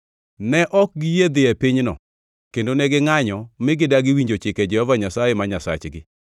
Ne ok giyie dhi e pinyno, kendo ne gingʼanyo mi gidagi winjo chike Jehova Nyasaye ma Nyasachgi.